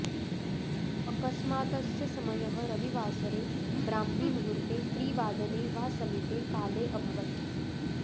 अकस्मातस्य समयः रविवासरे ब्राह्मीमुहूर्ते त्रिवादने वा समीपे काले अभवत्